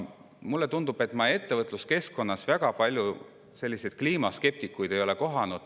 Mulle tundub, et ma ettevõtluskeskkonnas ei ole väga palju kliimaskeptikuid kohanud.